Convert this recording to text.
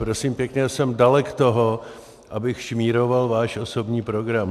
Prosím pěkně, jsem dalek toho, abych šmíroval váš osobní program.